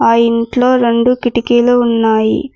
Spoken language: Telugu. ఆ ఇంట్లో రెండు కిటికీలు ఉన్నాయి.